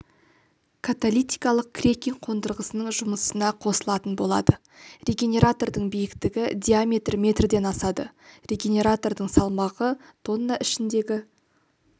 каталитикалық крекинг қондырғысының жұмысына қосылатын болады регенератордың биіктігі диаметрі метрден асады регенератордың салмағы тонна ішіндегі